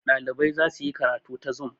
ɗalibai za su yi karatu ta zum